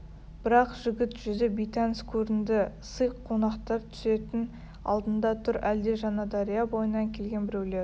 бірақ жігіт жүзі бейтаныс көрінді сый қонақтар түсетін алдында тұр әлде жаңадария бойынан келген біреулер